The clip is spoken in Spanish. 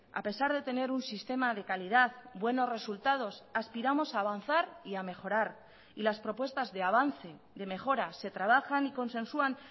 a pesar de tener un sistema de calidad buenos resultados aspiramos a avanzar y a mejorar y las propuestas de avance de mejora se trabajan y consensuan